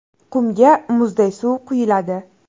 Qumga muzday suv quyiladi.